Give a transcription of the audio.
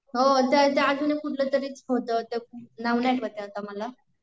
हो त्यात अजून कुठला तरी होत नाव नाही आठवते आता मला